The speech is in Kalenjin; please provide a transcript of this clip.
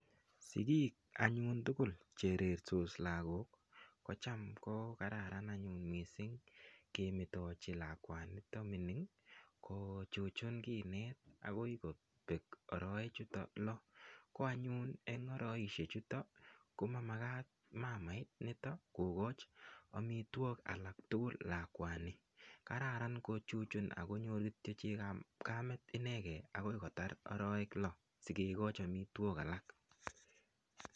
Sigik anyun tugul Che rertos lagok kocham anyun kokararan anyun mising kemetochi lakwani nito mining kochuchun kinet agoi kobek arawechuto lo ko anyun en arawechuto ko Makat mama initon komat kogochi amitwogik alak tugul lakwani kararan kochuchun ak konyor Kityo Chekab kamet inegen agoi kotar arawek lo sikikochi amitwogik alak